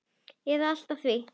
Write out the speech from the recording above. eða allt að því.